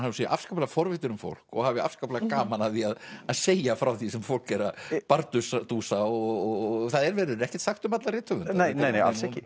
hún sé afskaplega forvitin um fólk og hafi afskaplega gaman af því að segja frá því sem fólk er að bardúsa og það verður ekkert sagt um alla rithöfunda nei nei nei alls ekki